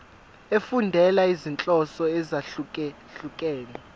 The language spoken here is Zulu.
efundela izinhloso ezahlukehlukene